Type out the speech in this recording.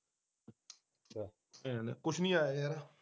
ਅੱਛਾ ਕੁਛ ਨਹੀਂ ਆਇਆ ਯਾਰ